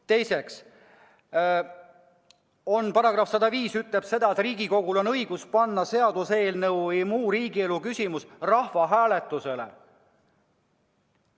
Teiseks, paragrahv 105 ütleb, et Riigikogul on õigus panna seaduseelnõu või muu riigielu küsimus rahvahääletusele.